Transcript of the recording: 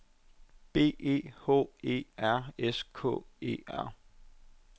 B E H E R S K E R